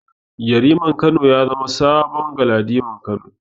Yariman Kano ya zama saman Galadiman Kano.